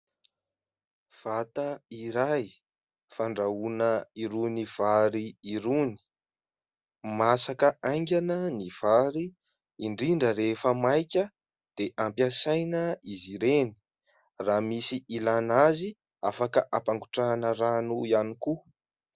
Vata iray fandrahoana irony vary irony. Masaka aingana ny vary indrindra rehefa maika dia ampiasaina izy ireny, raha misy hilana azy afaka hampangotrahana rano ihany koa.